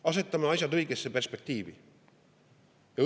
Asetame asjad õigesse perspektiivi!